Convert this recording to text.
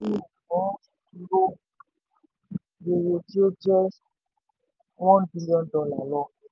rere tí ó jẹ́ one billion dollar lọ.